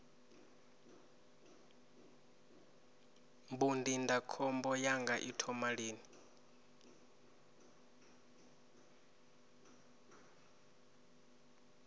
mbu ndindakhombo yanga i thoma lini